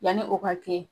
Yanni o ka kɛ